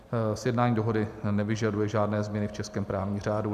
Sjednání dohody nevyžaduje žádné změny v českém právním řádu.